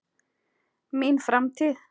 Mín framtíð?